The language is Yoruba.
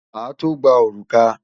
Màá tó gba òrùka.